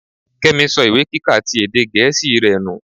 Kémi so ìwé kíka ti èdè gẹ̀ẹ́sì rẹ nù.